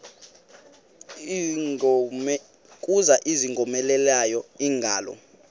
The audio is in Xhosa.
kuza ingowomeleleyo ingalo